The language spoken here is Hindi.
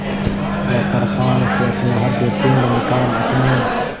वह कृपाण से अपना हृदयपिंड निकाल अपने